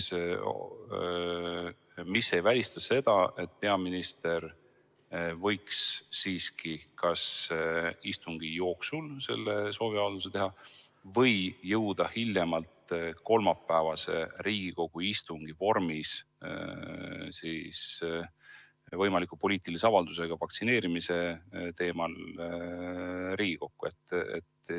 Sel juhul ei ole välistatud, et peaminister võiks siiski homse istungi jooksul selle sooviavalduse teha või jõuda oma poliitilise avaldusega vaktsineerimise teemal hiljemalt kolmapäevasele Riigikogu istungile.